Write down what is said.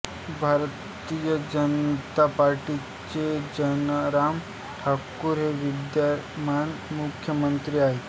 भारतीय जनता पार्टीचे जयराम ठाकूर हे विद्यमान मुख्यमंत्री आहेत